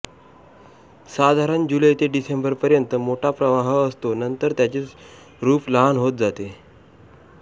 साधारण जुलै ते डिसेंबर पर्यंत मोठा प्रवाह असतो नंतर त्याचे रूप लहान होत जाते